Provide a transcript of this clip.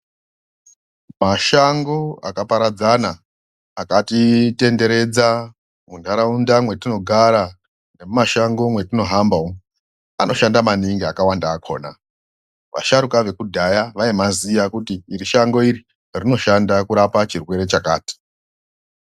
Mashango akaparadzana akati tenderedza muntaraunda mwatinogara nemimasango mwemwatino hamba umu anoshanda maningi akawanda akona vasharuka vekudhaya aimaziya kuti iri shango iri inoshanda kurapa chirwere chakati.